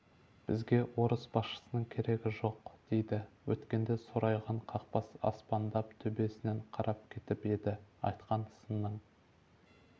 бізге орыс басшысының керегі жоқ дейді өткенде сорайған қақпас аспандап төбесінен қарап кетіп еді айтқан сынның